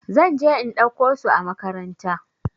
Zan je in ɗauko su a makaranta.